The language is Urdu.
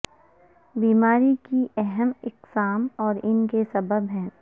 بیماری کی اہم اقسام اور ان کے سبب ہیں